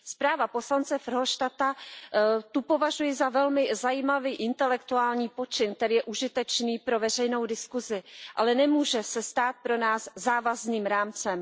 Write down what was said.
Zpráva poslance Verhofstadta považuji za velmi zajímavý intelektuální počin, který je užitečný pro veřejnou diskuzi, ale nemůže se stát pro nás závazným rámcem.